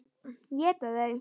Éta þau?